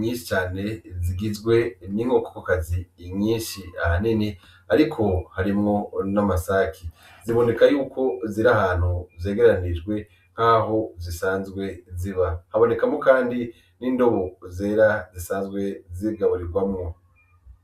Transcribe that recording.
nyishi cane zigizwe n'inkokokazi nyishi ahanini ariko harimwo n'amasaki ziboneka yuko zirahantu zegeranijwe nkaho zisanzwe ziba habonekamwo kandi n'indobo zera zisanzwe zigaburirwamwo.